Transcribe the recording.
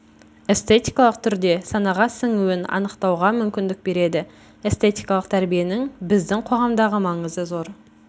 эстетикалық түрде санаға сіңуін анықтауға мүмкіндік береді эстетикалық тәрбиенің біздің қоғамдағы маңызы зор